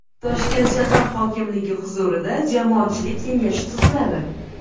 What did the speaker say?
Toshkent shahar hokimligi huzurida Jamoatchilik kengashi tuziladi.